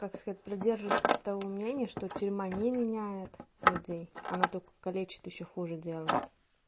так сказать придерживаюсь того мнения что тюрьма не меняет людей она только калечит ещё хуже делает